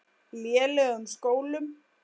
lélegum skólum.